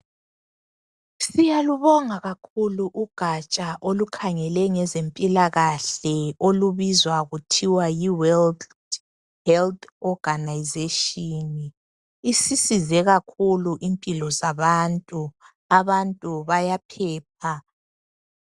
Siyalubonga kakhulu ugaja olukhangele ngezempilakahle. Lubizwa kuthiwa yiWorld Health Organisation, ngolimi lwemzini. Isisize kakhulu impilo zabantu, Abagulayo bayaphepha.